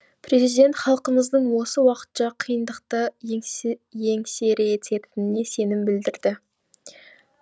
президент халқымыздың осы уақытша қиындықты еңсеретініне сенім білдірді